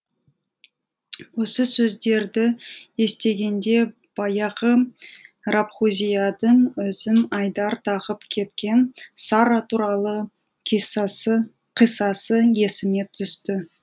осы сөздерді естігенде баяғы рабғузиядың өзім айдар тағып кеткен сарра туралы қиссасы есіме түсті